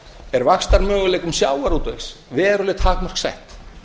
er vaxtarmöguleikum sjávarútvegs veruleg takmörk sett